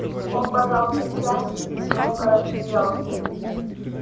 он пожал плечами и негромко рассмеялся